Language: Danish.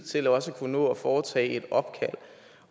til også at kunne nå at foretage et opkald